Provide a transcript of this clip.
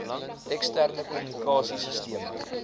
eksterne kommunikasie sisteme